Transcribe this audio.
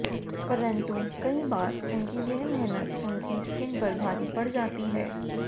परंतु कई बार उनकी यह मेहनत उनकी स्किन पर भारी पड़ जाती है